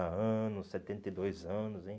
anos, setenta e dois anos, hein?